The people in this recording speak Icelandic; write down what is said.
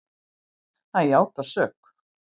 Hann játar sök.